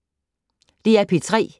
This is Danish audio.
DR P3